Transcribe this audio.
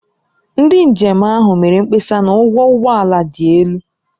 Ndị njem ahụ mere mkpesa na ụgwọ ụgbọ ala dị elu.